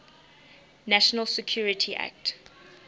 national security act